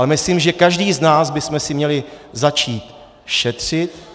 Ale myslím, že každý z nás bychom si měli začít šetřit.